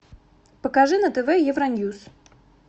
покажи на тв евроньюз